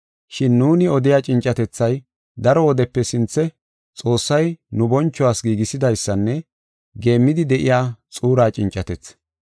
Shin nuuni odiya cincetethay, daro wodepe sinthe Xoossay nu bonchuwas giigisidaysanne geemmidi de7iya xuura cincatethi.